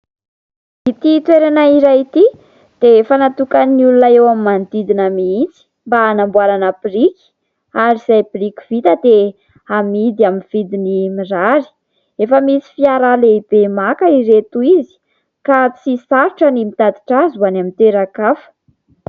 Ity toerana iray ity dia efa natokan'ny olona eo amin'ny manodidina mihitsy mba hanamboarana biriky ; ary izay biriky vita dia amidy amin'ny vidiny mirary ; efa misy fiara lehibe maka ireto izy ka tsy sarotra ny mitatitra azy ho any amin'ny toeran-kafa.